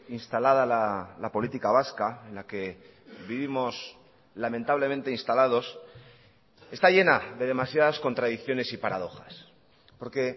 instalada la política vasca en la que vivimos lamentablemente instalados está llena de demasiadas contradicciones y paradojas porque